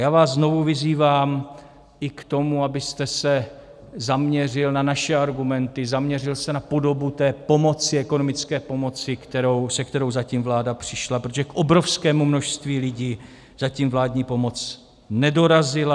Já vás znovu vyzývám i k tomu, abyste se zaměřil na naše argumenty, zaměřil se na podobu té pomoci, ekonomické pomoci, se kterou zatím vláda přišla, protože k obrovskému množství lidí zatím vládní pomoc nedorazila.